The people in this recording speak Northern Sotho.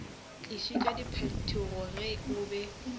tlišitše diphetogo ge o be